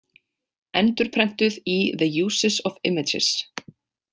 Endurprentuð í The Uses of Images.